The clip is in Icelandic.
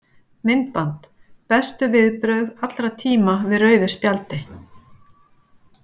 Myndband: Bestu viðbrögð allra tíma við rauðu spjaldi?